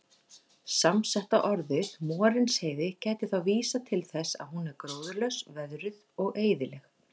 Samsetta orðið Morinsheiði gæti þá vísað til þess að hún er gróðurlaus, veðruð og eyðileg.